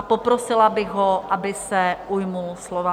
A poprosila bych ho, aby se ujal slova.